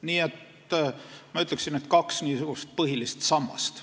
Nii et ma ütleksin, et on kaks niisugust põhilist sammast.